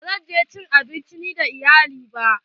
Ba zan je cin abinci na iyali ba.